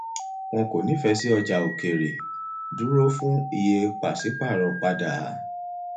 wọn kò nífẹẹ sí ọjà òkèèrè dúró fún iye pàṣípàrọ padà